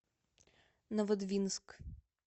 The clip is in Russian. новодвинск